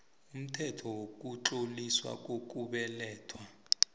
umthetho wokutloliswa kokubelethwa